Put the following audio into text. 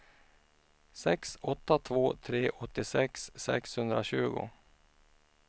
sex åtta två tre åttiosex sexhundratjugo